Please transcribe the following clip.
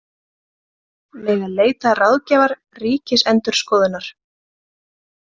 Mega leita ráðgjafar Ríkisendurskoðunar